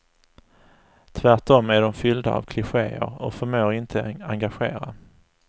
Tvärtom är de fyllda av klicheer och förmår inte engagera.